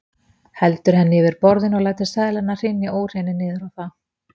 Heldur henni yfir borðinu og lætur seðlana hrynja úr henni niður á það.